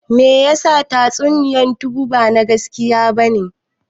Meyasa tatsuniyan tsubu ba na gaskiya bane?